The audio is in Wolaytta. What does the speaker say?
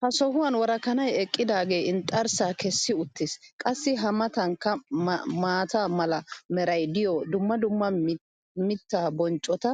ha sohuwan worakkanay eqqidaagee inxxarsaa kessi uttis. qassi a matankka maata mala meray diyo dumma dumma mitaa bonccota